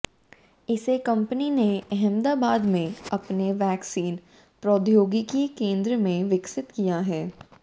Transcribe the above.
इसे कंपनी ने अहमदाबाद में अपने वैक्सीन प्रौद्योगिकी केंद्र में विकसित किया है